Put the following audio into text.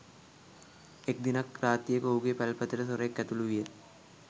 එක් දිනක් රාත්‍රියක ඔහුගේ පැල්පතට සොරෙක් ඇතුළු විය